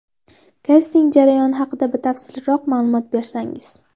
Kasting jarayoni haqida batafsilroq ma’lumot bersangiz.